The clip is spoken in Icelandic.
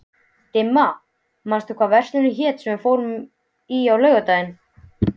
Dimma, manstu hvað verslunin hét sem við fórum í á laugardaginn?